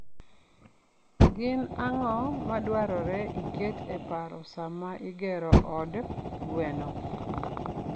Gin ang'o madwarore iket e paro sama igero od gwen?